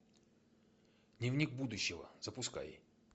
дневник будущего запускай